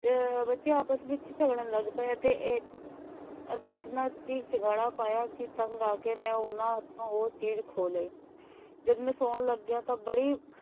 ਬੱਚੇ ਆਪਸ ਵਿਚ ਝਗੜਨ ਲੱਗ ਪਏ ਅਤੇ ਅਹ ਅਤੇ ਇਤਨਾ ਚੀਕ ਚਿਹਾੜਾ ਪਾਇਆ ਕਿ ਤੰਗ ਆ ਕੇ ਮੈਂ ਉਨ੍ਹਾਂ ਹੱਥੋਂ ਉਹ ਚੀਜ਼ ਖੋ ਲਈ। ਜਦ ਮੈਂ ਸੌਣ ਲੱਗਿਆ ਤਾਂ ਬੜੀ,